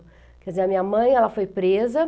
Quer dizer, a minha mãe foi presa